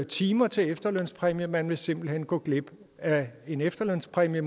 timer til en efterlønspræmie og man vil simpelt hen gå glip af en efterlønspræmie